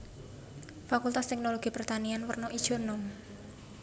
Fakultas Teknologi Pertanian werna ijo enom